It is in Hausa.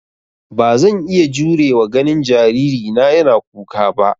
Ba zan iya jurewa ganin jaririna yana kuka ba.